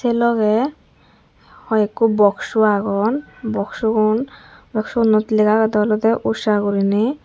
sey logey hoi ekku boxsu agon boxsugun boxsgunot lega agedey oley usha gorinay.